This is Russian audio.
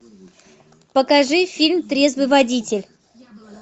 покажи фильм трезвый водитель